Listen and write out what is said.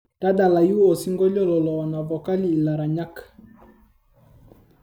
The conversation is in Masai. tadalayu osingolio lolowanavokali ilaranyak